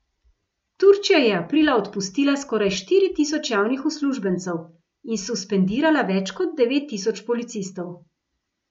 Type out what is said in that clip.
Turčija je aprila odpustila skoraj štiri tisoč javnih uslužbencev in suspendirala več kot devet tisoč policistov.